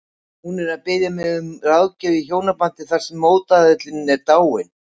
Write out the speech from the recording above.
Hún er að biðja mig um ráðgjöf í hjónabandi þar sem mótaðilinn er dáinn.